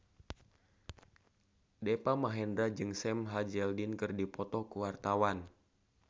Deva Mahendra jeung Sam Hazeldine keur dipoto ku wartawan